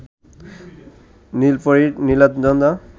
নীলপরী Nilanjana